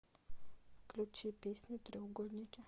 включи песню треугольники